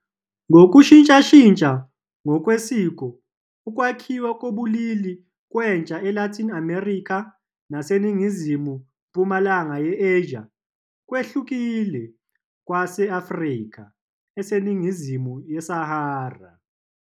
Ngokushintshashintsha ngokwesiko, ukwakhiwa kobulili kwentsha eLatin America naseNingizimu-mpumalanga ye-Asia kwehlukile kokwase-Afrika eseningizimu yeSahara.